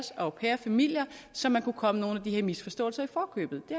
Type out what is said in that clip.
au pair familier så man kunne komme nogle af de her misforståelser i forkøbet det